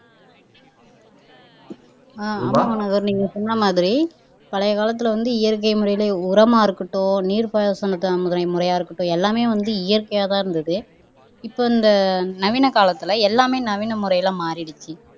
ஆஹ் ஆமா நீங்க சொன்ன மாதிரி பழைய காலத்துல வந்து இயற்கை முறையில உரமா இருக்கட்டும் நீர் பாசனத்தா முறை முறையா இருக்கட்டும் எல்லாமே வந்து இயற்கையாதான் இருந்தது இப்ப இந்த நவீன காலத்துல எல்லாமே நவீன முறையில மாறிடுச்சு